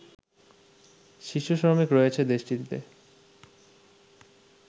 শিশু শ্রমিক রয়েছে দেশটিতে